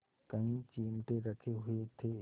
कई चिमटे रखे हुए थे